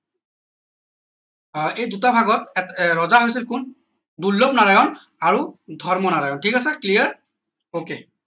আহ এই দুটা ভাগত আহ ৰজা হৈছিল কোন দুৰ্লনাৰায়ণৰ আৰু ধৰ্মনাৰায়ন ঠিক আছে clear ok